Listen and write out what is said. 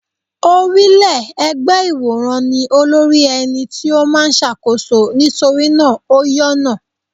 Orílẹ́-ẹgbẹ́ ìwòrán ní olórí ẹni tí ó máa ń ṣàkóso nítorí náà ó yọ́nà.